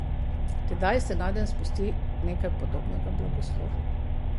Tedaj se nadenj spusti nekaj podobnega blagoslovu.